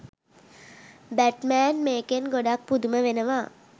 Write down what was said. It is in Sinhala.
බැට්මෑන් මේකෙන් ගොඩක් පුදුම වෙනවා.